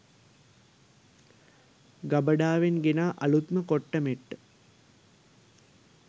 ගබඩාවෙන් ගෙනා අලූත්ම කොට්ට මෙට්ට